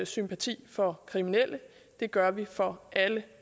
sympati for kriminelle det gør vi for alle